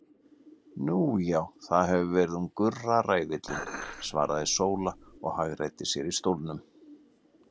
Nú já, það hefur verið hún Gurra ræfillinn, svaraði Sóla og hagræddi sér í stólnum.